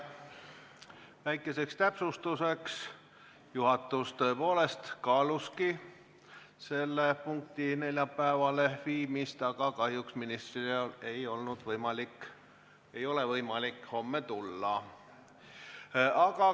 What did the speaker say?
Väikeseks täpsustuseks: juhatus tõepoolest kaalus selle punkti neljapäevale viimist, aga kahjuks ministril ei ole võimalik homme tulla.